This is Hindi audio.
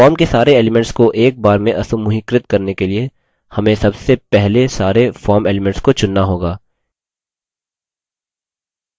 form के सारे elements को एक बार में असमूहीकृत करने के लिए हमें सबसे पहले सारे form elements को चुनना होगा